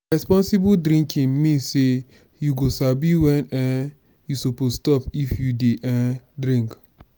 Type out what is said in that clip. responsible drinking mean say you go sabi when um you suppose stop if you dey um drink.